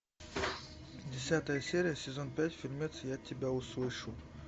десятая серия сезон пять фильмец я тебя услышу